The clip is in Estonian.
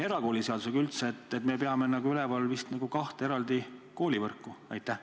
Erakooliseaduse järgi me peame üleval vist kahte eraldi koolivõrku?